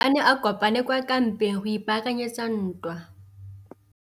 Masole a ne a kopane kwa kampeng go ipaakanyetsa ntwa.